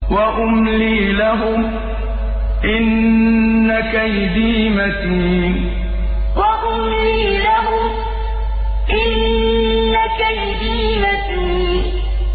وَأُمْلِي لَهُمْ ۚ إِنَّ كَيْدِي مَتِينٌ وَأُمْلِي لَهُمْ ۚ إِنَّ كَيْدِي مَتِينٌ